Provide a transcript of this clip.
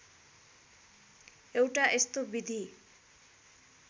एउटा यस्तो विधि